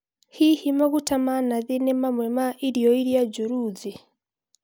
Hihi maguta ma nathi ni mamwe ma irio iria njoru thĩ?